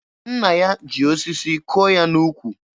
Nna ya ji osisi kụọ ya n'ukwu.